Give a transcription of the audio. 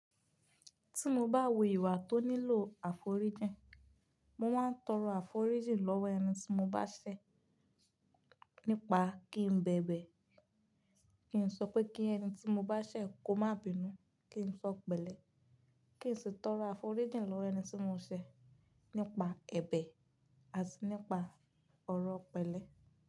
Tí mo bá wo ìwà tó nílò àforíjìn, mo máa ń tọrọ àforíjìn lọ́wọ́ ẹni tí mo bá ṣẹ̀ nípa kí n bẹ̀bẹ̀, kí n sọ pé kí ẹni tí mo bá ṣẹ̀ kó má bínú, kí n sọ pẹ̀lẹ́, kí n sì tọrọ àforíjìn lọ́wọ́ ẹni tí mo ṣẹ̀ nípa ẹ̀bẹ̀ àti nípa ọ̀rọ̀ pẹ̀lẹ́.